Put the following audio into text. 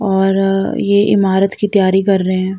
और ये इमारत की तैयारी कर रहे हैं।